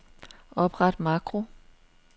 Opret makro.